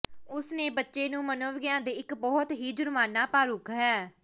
ਉਸ ਨੇ ਬੱਚੇ ਨੂੰ ਮਨੋਵਿਗਿਆਨ ਦੇ ਇੱਕ ਬਹੁਤ ਹੀ ਜੁਰਮਾਨਾ ਪਾਰਖੂ ਹੈ